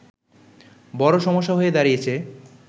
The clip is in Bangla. বড় সমস্যা হয়ে দাঁড়িয়েছে